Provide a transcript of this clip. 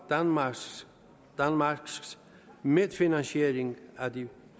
danmarks medfinansiering af de